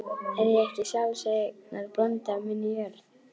Er ég ekki sjálfseignarbóndi á minni jörð?